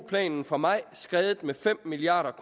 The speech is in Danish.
planen fra maj skredet med fem milliard